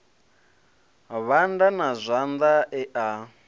vhanda na zwanḓa e a